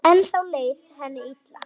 Ennþá leið henni illa.